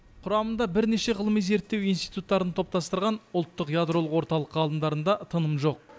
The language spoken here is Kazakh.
құрамында бірнеше ғылыми зерттеу институттарын топтастырған ұлттық ядролық орталық ғалымдарында тыным жоқ